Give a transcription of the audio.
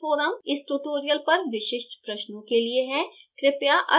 spoken tutorial forum इस tutorial पर विशिष्ट प्रश्नों के लिए है